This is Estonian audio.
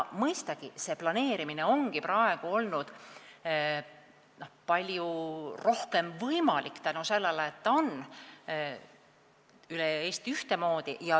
Mõistagi, planeerimine ongi praegu olnud palju paremini võimalik tänu sellele, et süsteem toimib üle Eesti ühtemoodi.